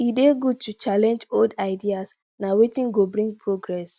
e dey good to challenge old ideas na wetin go bring progress